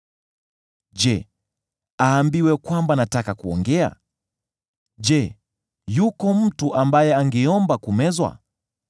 Je, aambiwe kwamba nataka kuongea? Je, yuko mtu ambaye angeomba kumezwa?